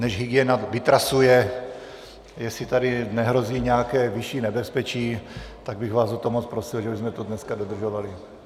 Než hygiena vytrasuje, jestli tady nehrozí nějaké vyšší nebezpečí, tak bych vás o to moc prosil, že bychom to dneska dodržovali.